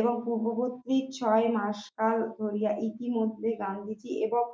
এবং পূর্ববর্তী ছয় মাস কাল ধরিয়া ইতিমধ্যে গান্ধীজী এবং